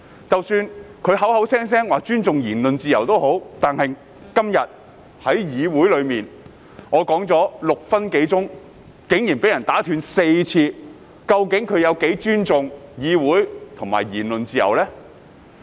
即使他們口口聲聲說尊重言論自由，但今天在議會內，我發言的6分鐘內，竟然4次被打斷，那麼他們究竟有多尊重議會和言論自由呢？